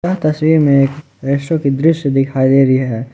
तस्वीर में एक की दृश्य दिखाई दे रही है ।